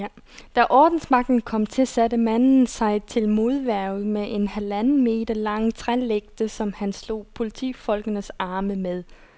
Da ordensmagten kom til, satte manden sig til modværge med en halvanden meter lang trælægte, som han slog politifolkenes arme med.